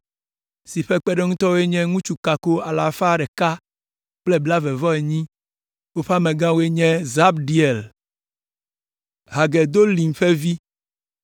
si ƒe kpeɖeŋutɔwo nye ŋutsu kako alafa ɖeka kple blaeve-vɔ-enyi (128). Woƒe amegãe nye Zabdiel, Hagedolim ƒe vi.